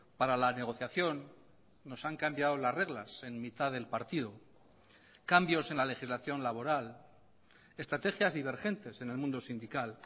para la negociación nos han cambiado las reglas en mitad del partido cambios en la legislación laboral estrategias divergentes en el mundo sindical